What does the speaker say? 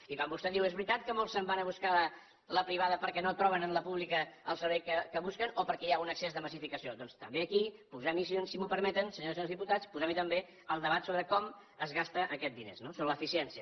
i quan vostè diu és veritat que molts se’n van a buscar la privada perquè no troben en la pública el servei que busquen o perquè hi ha un excés de massificació doncs també aquí posem hi si m’ho permeten senyores i senyors diputats posem hi també el debat sobre com es gasten aquests diners no sobre l’eficiència